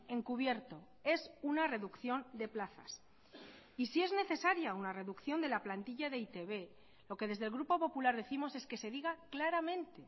encubierto es una reducción de plazas y si es necesaria una reducción de la plantilla de e i te be lo que desde el grupo popular décimos es que se diga claramente